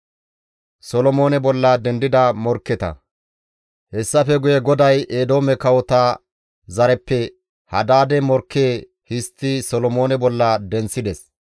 Hessafe guye GODAY Eedoome kawota zareppe Hadaade morkke histti Solomoone bolla denththides.